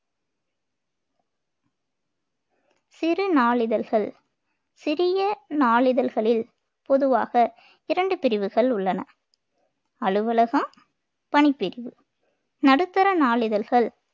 சிறு நாளிதழ்கள் சிறிய நாளிதழ்களில் பொதுவாக இரண்டு பிரிவுகள் உள்ளன அலுவலகம் பணிப்பிரிவு நடுத்தர நாளிதழ்கள்